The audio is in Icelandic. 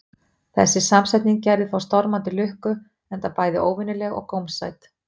Þessi samsetning gerði þó stormandi lukku, enda bæði óvenjuleg og gómsæt.